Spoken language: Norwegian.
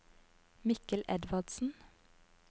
Mikkel Edvardsen